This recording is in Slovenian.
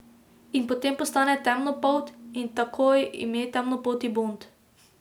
In potem postane temnopolt, in takoj ime temnopolti Bond.